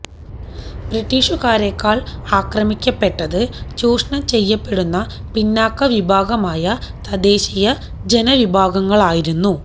ബ്രിട്ടീഷുകാരേക്കാള് ആക്രമിക്കപ്പെട്ടത് ചൂഷണം ചെയ്യപ്പെടുന്ന പിന്നാക്ക വിഭാഗമായ തദ്ദേശീയ ജനവിഭാഗങ്ങളായിരുന്നു